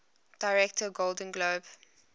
director golden globe